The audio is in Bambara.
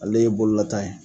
Ale ye bololata ye